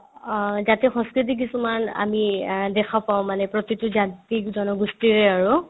অ, জাতীয় সংস্কৃতি কিছুমান আমি অ দেখা পাও মানে প্ৰতিতো জাতি-জনগোষ্ঠিৰে আৰু